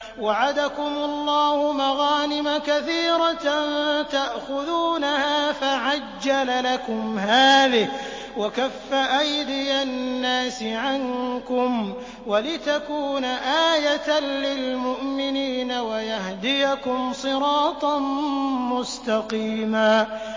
وَعَدَكُمُ اللَّهُ مَغَانِمَ كَثِيرَةً تَأْخُذُونَهَا فَعَجَّلَ لَكُمْ هَٰذِهِ وَكَفَّ أَيْدِيَ النَّاسِ عَنكُمْ وَلِتَكُونَ آيَةً لِّلْمُؤْمِنِينَ وَيَهْدِيَكُمْ صِرَاطًا مُّسْتَقِيمًا